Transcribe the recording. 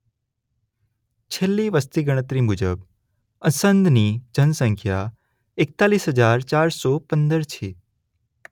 છેલ્લી વસતી ગણતરી મુજબ અસંધની જનસંખ્યા એકતાલીસ હજાર ચાર સો પંદર છે.